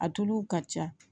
A tulu ka ca